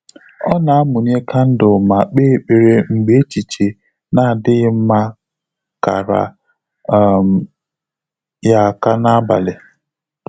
Ọ́ nà-àmụ́nyé kándụ̀l mà kpèé ékpèré mgbè échíché nà-ádị́ghị́ mmá kàrà um yá áká n’ábàlị̀.